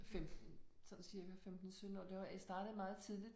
15 sådan cirka 15 17 år. Det var jeg startede meget tidligt